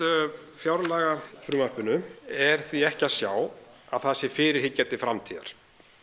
fjárlagafrumvarpinu er því ekki að sjá að það sé fyrirhyggja til framtíðar